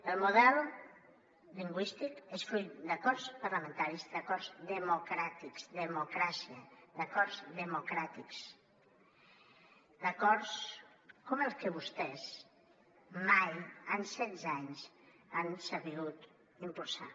el model lingüístic és fruit d’acords parlamentaris d’acords democràtics democràcia d’acords democràtics d’acords com els que vostès mai en setze anys han sabut impulsar